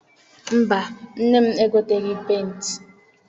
Mba, nne m egoteghị penti.